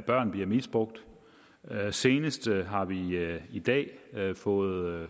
børn bliver misbrugt senest har vi vi i dag fået